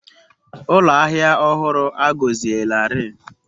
Ụlọ ahịa ọhụrụ a gọzielarị.